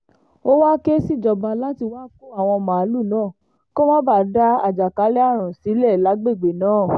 ó wáá ké síjọba láti wáá kó àwọn màlúù náà kó má bàa dá àjàkálẹ̀ àrùn sílẹ̀ lágbègbè náà